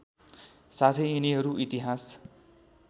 साथै यिनीहरू इतिहास